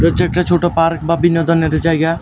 এটা হচ্ছে একটা ছোট পার্ক বা বিনোদনের জায়গা।